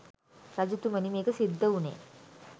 රජතුමනි මේක සිද්ධ වුණේ